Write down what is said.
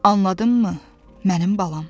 Anladınmı, mənim balam?